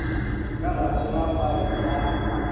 ka gare ga faele ya